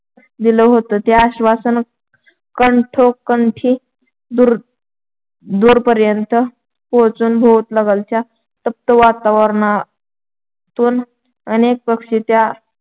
दिलं होतं. ते आश्‍वासन कंठोकंठी दूर दूरपर्यंत पोचून भोवतालच्या तप्त वातावरणातून अनेक पक्षी त्या